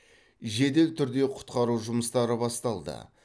жедел түрде құтқару жұмыстары басталды